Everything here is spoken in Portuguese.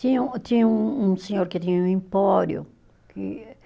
Tinha um, tinha um um senhor que tinha um empório que